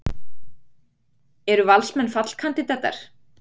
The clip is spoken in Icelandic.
Eru Valsmenn fallkandídatar?